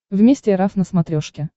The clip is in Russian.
вместе эр эф на смотрешке